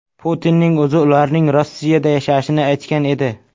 Putinning o‘zi ularning Rossiyada yashashini aytgan edi.